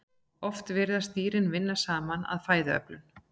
oft virðast dýrin vinna saman að fæðuöflun